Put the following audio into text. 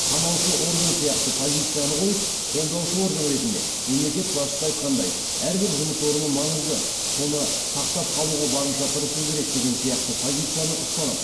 қанаушы орган сияқты позицияны қойып қолдаушы орган ретінде мемлекет басшысы айтатындай әрбір жұмыс орны маңызды соны сақтап қалуға барынша тырысу керек деген сияқты позицияны ұстанып